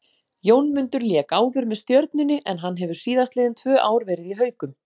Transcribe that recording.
Jónmundur lék áður með Stjörnunni en hann hefur síðastliðinn tvö ár verið í Haukum.